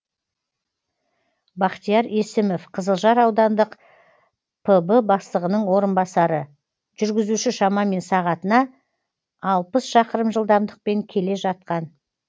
бахтияр есімов қызылжар аудандық пб бастығының орынбасары жүргізуші шамамен сағатына алпыс шақырым жылдамдықпен келе жатқан